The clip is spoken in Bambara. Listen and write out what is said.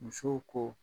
Musow ko